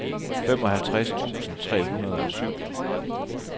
femoghalvtreds tusind tre hundrede og syv